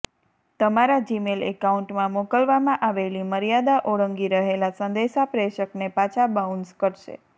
તમારા જીમેલ એકાઉન્ટમાં મોકલવામાં આવેલી મર્યાદા ઓળંગી રહેલા સંદેશા પ્રેષકને પાછા બાઉન્સ કરશે